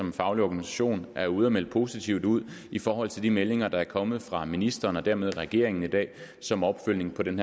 en faglig organisation er ude at melde positivt ud i forhold til de meldinger der er kommet fra ministeren og dermed regeringen i dag som opfølgning på den